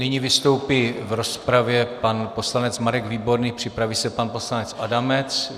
Nyní vystoupí v rozpravě pan poslanec Marek Výborný, připraví se pan poslanec Adamec.